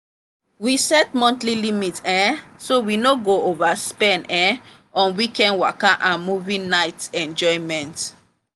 we set monthly limit um so we no go overspend um on weekend waka and movie night enjoyments.